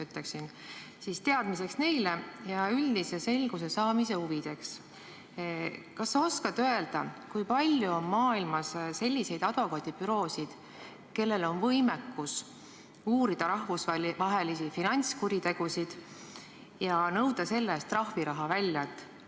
Kas sa teadmiseks neile ja üldise selguse saamise huvides oskad öelda, kui palju on maailmas selliseid advokaadibüroosid, kellel on võimekus uurida rahvusvahelisi finantskuritegusid ja nõuda selle eest trahviraha välja?